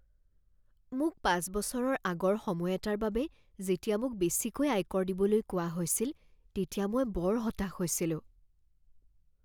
মোক পাঁচ বছৰৰ আগৰ সময় এটাৰ বাবে যেতিয়া মোক বেছিকৈ আয়কৰ দিবলৈ কোৱা হৈছিল তেতিয়া মই বৰ হতাশ হৈছিলোঁ।